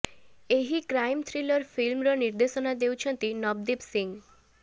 ଏହି crime thriller ଫିଲ୍ମର ନିର୍ଦ୍ଦେଶନା ଦେଉଛନ୍ତି ନବଦୀପ ସିଂ